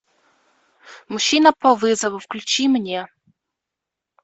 мужчина по вызову включи мне